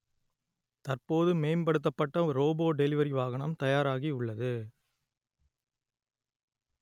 தற்போது மேம் படுத்தப்பட்ட ரோபோ டெலிவரி வாகனம் தயாராகி உள்ளது